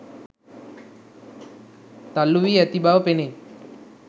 තල්ලූවී ඇති බව පෙනේ